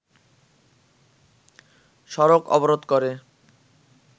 সড়ক অবরোধ করে